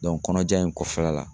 kɔnɔja in kɔfɛla la